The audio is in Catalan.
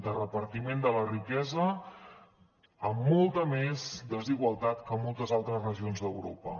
de repartiment de la riquesa amb molta més desigualtat que moltes altres regions d’europa